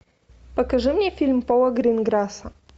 покажи мне фильм пола гринграсса